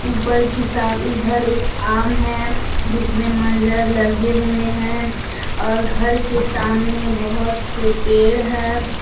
ऊपर की इधर एक आम है जिसमें मंजर लगे हुए हैं और घर के सामने बहुत से पेड़ है।